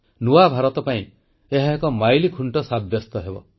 ନୂଆ ଭାରତ ପାଇଁ ଏହା ଏକ ମାଇଲଖୁଂଟ ସାବ୍ୟସ୍ତ ହେବ